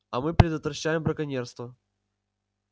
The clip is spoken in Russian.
а мы предотвращаем браконьерство